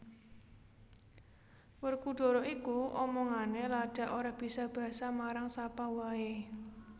Werkudara iku omongane ladak ora bisa basa marang sapa wae